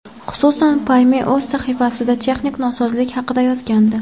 Xususan, Payme o‘z sahifasida texnik nosozlik haqida yozgandi .